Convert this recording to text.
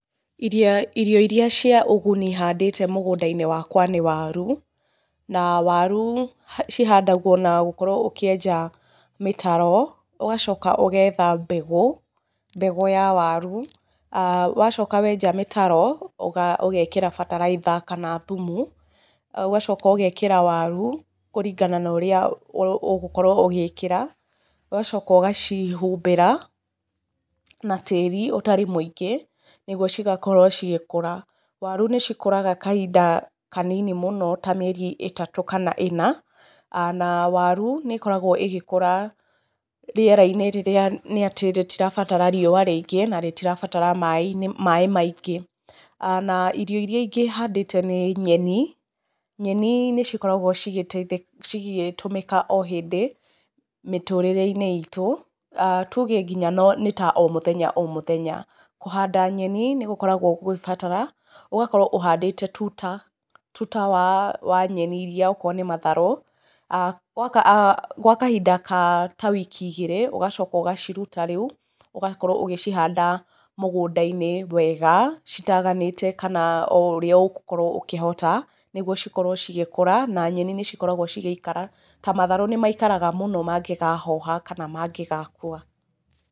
Irio iria cia ũguni handĩte mũgũnda-inĩ wakwa nĩ waru, na waru cihandagũo na gũkorũo ũkĩenja mĩtaro ũgacoka ũgetha mbegũ, mbegũ ya waru, wacoka wenja mĩtaro ũga ũgekĩra bataraitha kana thumu ũgacoka ũgekĩra waru kũringana norĩa ũgũkorũo ũgĩkĩra ũgacoka ũgacihumbĩra na tĩri ũtarĩ mũingĩ nĩgũo igakorũo igĩkũra. Waru nĩ ikũraga kahinda kanini mũno ta mĩeri ĩtatũ kana ĩna, waru nĩ ĩkoragũo ĩgĩkũra rĩera-inĩ rĩrĩa nĩ atĩ rĩtirabatara riũa rĩingĩ na rĩtirabatara maĩ maingĩ. Na irio ingĩ handĩte nĩ nyeni, nyeni nĩ cikoragũo cikĩtũmĩka o hĩndĩ mĩtũrĩrei-inĩ itũ tuge nginya no ta o mũthenya o muthenya. Kũhanda nyeni nĩgũkoragũo gũgĩbatara ũgakorũo ũhandĩte tũta, tuta wa nyeni iria okorũo nĩ matharũ gwakahinda ka ta wiki igĩrĩ ũgacoka ũgaciruta rĩu ũgakorũo ũgĩcihanda mũgũnda-inĩ wega citaganĩte kana oũrĩa ũgũkorũo ũkihota nĩgũo cikorũo cigĩkũra, na nyeni nicikoragũo cigĩikara, ta matharũ nĩmaikaraga mũno mangĩkahoha kana mangĩgakũa.